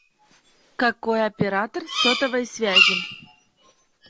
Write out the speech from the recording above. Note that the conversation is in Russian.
какой оператор сотовой связи